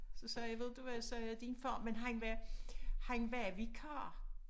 Så sagde jeg ved du hvad jeg sagde din far men han var han var vikar